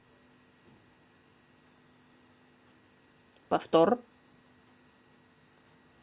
повтор